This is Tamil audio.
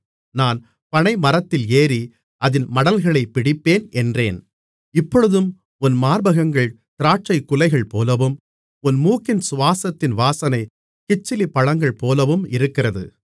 நான் பனைமரத்தில் ஏறி அதின் மடல்களைப் பிடிப்பேன் என்றேன் இப்பொழுதும் உன் மார்பகங்கள் திராட்சைக்குலைகள்போலவும் உன் மூக்கின் சுவாசத்தின் வாசனை கிச்சிலிப்பழங்கள்போலவும் இருக்கிறது